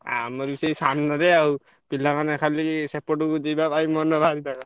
ଆମର ବି ସେଇ ସାମ୍ନାରେ ଆଉ ପିଲାମାନେ ଖାଲି ସେପଟ କୁ ଯିବା ପାଇଁ ମନ ହାଇଁ ପାଇଁ।